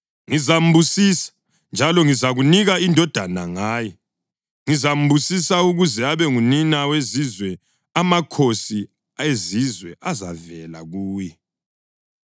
Ngizambusisa, njalo ngizakunika indodana ngaye. Ngizambusisa ukuze abe ngunina wezizwe; amakhosi ezizwe azavela kuye.”